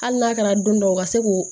Hali n'a kɛra don dɔw ka se k'o